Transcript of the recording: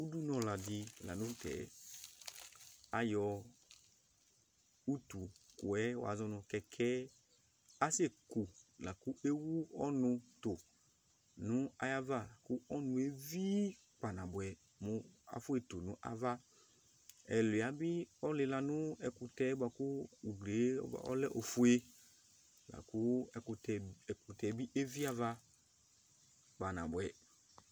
udunu la di lantɛ ayɔ utu kòɛ wa zɔ no kɛkɛ asɛ ku lakò ewu ɔnò to no ayi ava lakò ɔnuɛ vi kpa na boɛ mo afɔetu no ava ɛluia bi ɔlila no ɛkutɛ boa kò uglie ɔlɛ ofue lakò ɛkutɛ bi evi ava kpa na boɛ